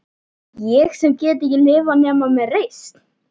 Ég sem get ekki lifað nema með reisn.